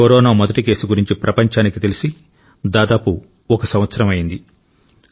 corona మొదటి case గురించి ప్రపంచానికి తెలిసి దాదాపు ఒక సంవత్సరం అయ్యింది